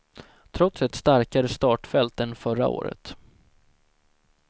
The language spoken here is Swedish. Trots ett starkare startfält än förra året.